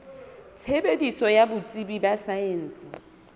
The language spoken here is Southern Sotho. tshebetso ya botsebi ba saense